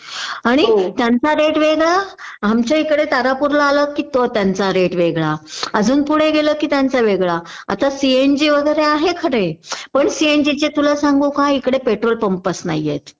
आणि त्यांचा रेट वेगळा, आमच्या इकडे तारापूरला आलात कि तो त्यांचा रेट वेगळा.अजून पुढे गेलात कि त्यांचा वेगळा.आता सीएनजी वगैरे आहे खरे पण सीएनजी चे तुला सांगू का इकडे पेट्रोलपपंच नाहीयेत